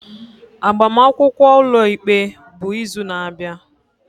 Agbamakwụkwọ ụlọikpe bụ izu na-abịa.